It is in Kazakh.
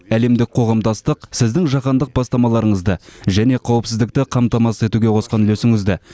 әлемдік қоғамдастық сіздің жаһандық бастамаларыңызды және қауіпсіздікті қамтамасыз етуге қосқан үлесіңізді